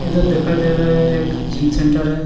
इदर दिखाई दे रहा है एक जिम सेंटर है।